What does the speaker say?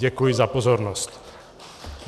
Děkuji za pozornost.